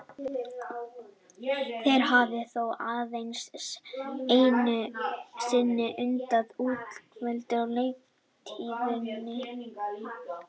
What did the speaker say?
Þeir hafa þó aðeins einu sinni unnið á útivelli á leiktíðinni.